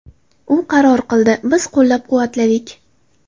U qaror qildi, biz qo‘llab-quvvatladik.